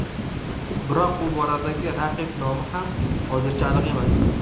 Biroq bu boradagi raqib nomi ham hozirgacha aniq emas.